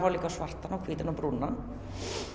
svartan hvítan og brúnan